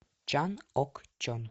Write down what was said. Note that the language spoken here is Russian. чан ок чон